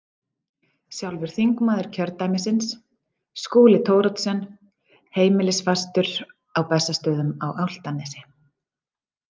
Sjálfur þingmaður kjördæmisins, Skúli Thoroddsen, heimilisfastur á Bessastöðum á Álftanesi.